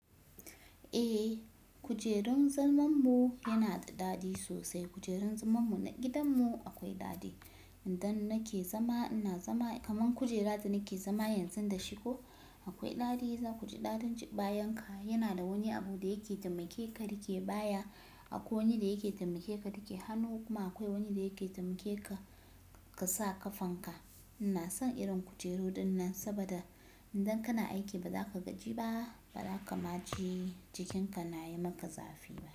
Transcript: Eh, kujerun zalman mu yana da daɗi sosai. Kujerun zaman mu na gidan mu akwai daɗi. Idan nake zama ina zama kaman kujera da nake zama yanzu da shi ko, akwai daɗi. Zaku ji daɗin bayan ka. Yana da wani abu da yake taimake ka da ke baya. Akwai wani da yake taimake ka rike hannu, kuma akwai wani da yake taimake ka, ka sa ƙafan ka. Ina son irin kujeru dinnan saboda idan kana aiki ba za ka gaji ba, ba za ka ma ji jikin ka na yi maka zafi ba.